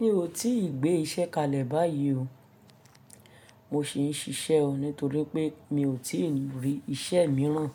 Mi ò tíì gbé iṣẹ́ kalẹ̀ báyìí o. Mo sì ń ṣiṣẹ́ o nítorí pé mi ò tíì rí iṣẹ́ míràn